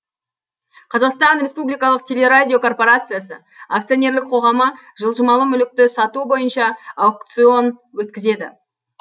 қазақстан республикалық телерадиокорпорациясы акционерлік қоғамы жылжымалы мүлікті сату бойынша аукцион өткізеді